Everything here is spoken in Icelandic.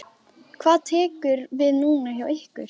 Hvað tekur við núna hjá ykkur?